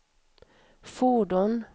fordon